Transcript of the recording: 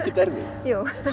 ég